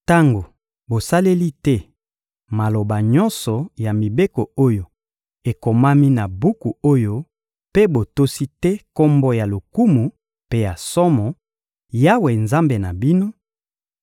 Tango bosaleli te maloba nyonso ya mibeko oyo ekomami na buku oyo mpe botosi te Kombo ya lokumu mpe ya somo, Yawe, Nzambe na bino;